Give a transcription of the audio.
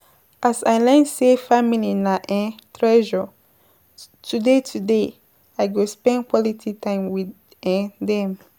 As I learn sey family na um treasure, today today I go spend quality time wit um dem